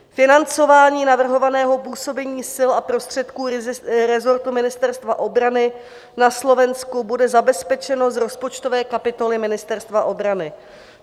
Financování navrhovaného působení sil a prostředků rezortu Ministerstva obrany na Slovensku bude zabezpečeno z rozpočtové kapitoly Ministerstva obrany.